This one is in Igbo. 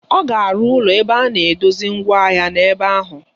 Ọ ga-arụ ụlọ ebe a na-edosa mgwa ahịa n'ebe ahụ.